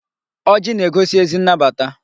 Ọjị na-egosi ezi nnabata.